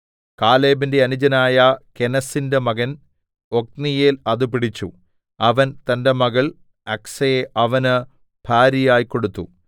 കാലേബിന്റെ അനുജനായ കെനസിന്റെ മകൻ ഒത്നീയേൽ അത് പിടിച്ചു അവൻ തന്റെ മകൾ അക്സയെ അവന് ഭാര്യയായി കൊടുത്തു